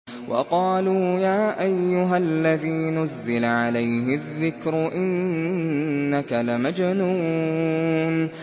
وَقَالُوا يَا أَيُّهَا الَّذِي نُزِّلَ عَلَيْهِ الذِّكْرُ إِنَّكَ لَمَجْنُونٌ